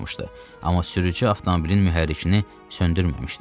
Amma sürücü avtomobilin mühərrikini söndürməmişdi.